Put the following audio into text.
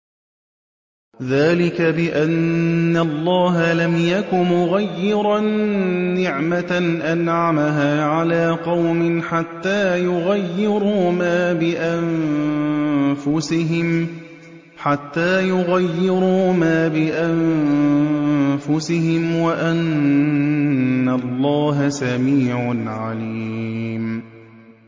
ذَٰلِكَ بِأَنَّ اللَّهَ لَمْ يَكُ مُغَيِّرًا نِّعْمَةً أَنْعَمَهَا عَلَىٰ قَوْمٍ حَتَّىٰ يُغَيِّرُوا مَا بِأَنفُسِهِمْ ۙ وَأَنَّ اللَّهَ سَمِيعٌ عَلِيمٌ